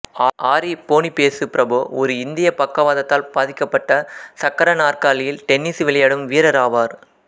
ஆரி Boniface Prabhu ஒரு இந்திய பக்கவாதத்தால் பாதிக்கப்பட்ட சக்கர நாற்காலியில் டென்னிசு விளையாடும் வீரராவார்